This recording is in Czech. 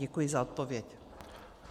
Děkuji za odpověď.